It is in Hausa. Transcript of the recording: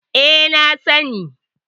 E, na sani.